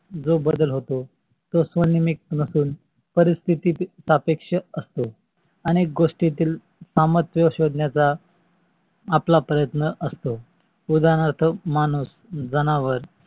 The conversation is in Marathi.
जो बदल होतो. तो स्व्नेयामिक नसून पारीस्तीत अपेक्ष असतो. अनेक गोष्टीतील सामर्थ्य शोधण्य चा आपला प्रयत्न असतो. उदारणार्थ माणूस, जनावर